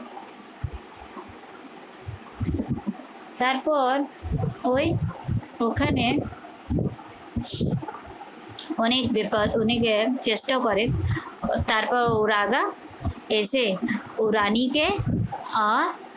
তারপর ওই ওখানে অনেক বিপদ অনেকের চেষ্টা করেন তারপর ও রাজা এসে ও রানীকে আহ